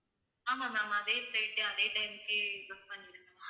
ஆமாம் ma'am அதே flight அதே time க்கே book பண்ணிடுங்க ma'am